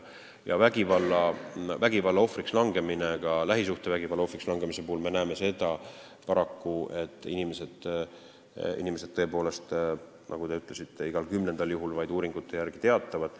Vägivalla, ka lähisuhtevägivalla ohvriks langemise korral me näeme paraku seda, et inimesed tõepoolest, nagu te ütlesite, uuringute järgi vaid igal kümnendal juhul sellest teatavad.